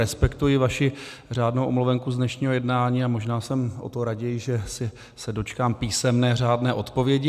Respektuji vaši řádnou omluvenku z dnešního jednání a možná jsem o to raději, že se dočkám písemné řádné odpovědi.